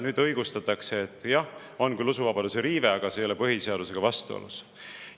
Nüüd õigustatakse, et jah, on küll usuvabaduse riive, aga see ei ole põhiseadusega vastuolus.